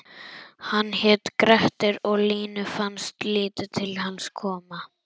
Hann hét Grettir og Línu fannst lítið til hans koma: